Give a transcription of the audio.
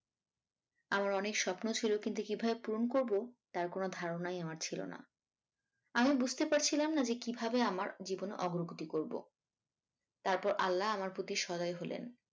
আমার অনেক স্বপ্ন ছিল কিন্তু কিভাবে পূরণ করব তার কোনো ধারনাই আমার ছিল না, আমি বুঝতে পারছিলাম না যে কিভাবে আমার জীবনের অগ্রগতি করব তারপর আল্লাহ আমার প্রতি সদয় হলেন